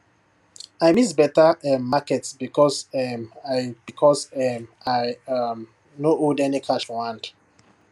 i miss better um market because um i because um i um no hold any cash for hand